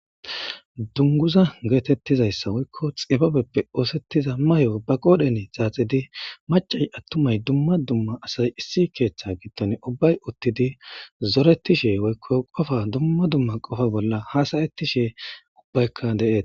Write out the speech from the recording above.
dunguza geetettizayssa woykko xibabeppe oosettiza mahe ubbaqodhene zaaxidi macay attumay dumma dumma asay issi keeththe gidton ubbay uttidi zoretishe woykko qofa dumma dumma qofa bolla hasayettishe ubbaykka deetes